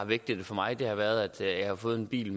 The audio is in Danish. vigtige for mig har været at jeg har fået en bil